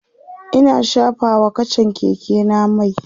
Ina shafa wa kachan Keke na mai